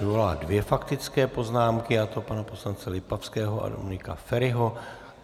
Vyvolala dvě faktické poznámky, a to pana poslance Lipavského a Dominika Feriho.